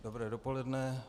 Dobré dopoledne.